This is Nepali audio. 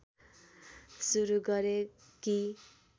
सुरु गरे कि